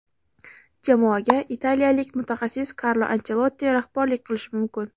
jamoaga italiyalik mutaxassis Karlo Anchelotti rahbarlik qilishi mumkin.